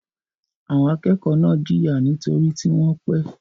Àwọn akẹ́kọ̀ọ́ náà jìyà nítorí tí wọ́n pẹ́.